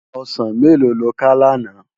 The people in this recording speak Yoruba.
Òsán méló ló ká làná?